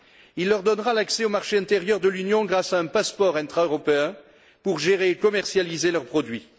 Il leur donnera l'accès au marché intérieur de l'Union grâce à un passeport intra européen pour gérer et commercialiser leurs produits.